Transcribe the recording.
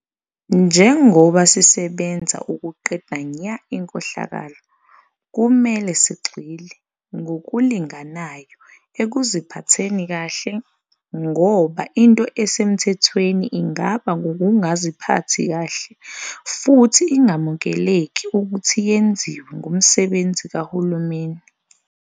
Njengoba sisebenza ukuqeda nya inkohlakalo, kumele sigxile ngokulinganayo ekuziphatheni kahle, ngoba into esemthethweni ingaba ngukungaziphathi kahle futhi ingamukeleki ukuthi yenziwe ngumsebenzi kahulumeni.